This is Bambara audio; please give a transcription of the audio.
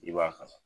I b'a kala